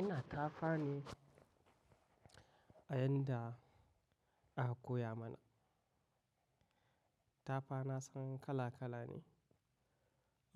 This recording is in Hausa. Ina tafa ne a yanda aka koya mana. Tafa na san kala kala ne,